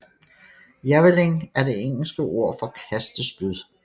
Javelin er det engelske ord for kastespyd